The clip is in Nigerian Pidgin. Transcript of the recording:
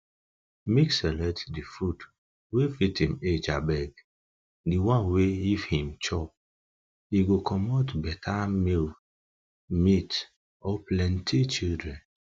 make select the food wa fit him age abeg the one wa if him chop e go comot better milk, meat or plenty children